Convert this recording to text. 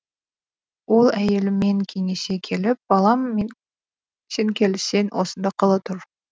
ол әйелімен кеңесе келіп балам сен келіссең осында қала тұр